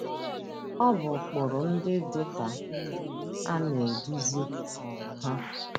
Ọ bụ ụkpụrụ ndị dị ka ndị a na - eduzi um ha: